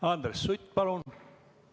Andres Sutt, palun!